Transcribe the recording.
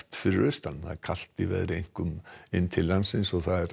fyrir austan kalt í veðri einkum inn til landsins